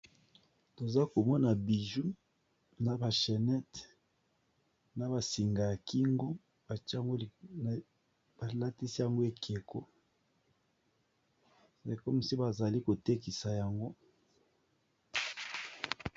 toza komona biju na bashenete na basinga ya kingo balatisi yango ekeko rekomsi bazali kotekisa yango